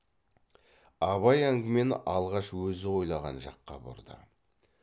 абай әңгімені алғаш өзі ойлаған жаққа бұрды